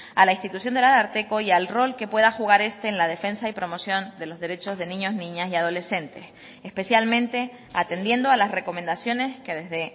a la institución del ararteko y al rol que pueda jugar este en la defensa y promoción de los derechos de niños niñas y adolescentes especialmente atendiendo a las recomendaciones que desde